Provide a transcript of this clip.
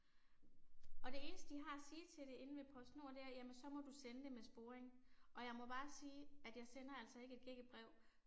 Og det eneste de har at sige til det inde ved PostNord det er jamen så må du sende det med sporring. Og jeg må bare sige, at jeg sender altså ikke et gækkebrev